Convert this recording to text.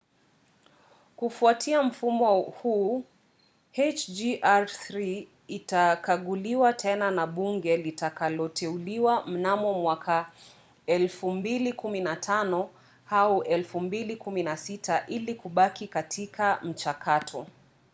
kufuatia mfumo huu hjr-3 itakaguliwa tena na bunge litakaloteuliwa mnamo mwaka 2015 au 2016 ili kubaki katika mchakato